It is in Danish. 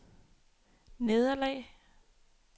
nederlag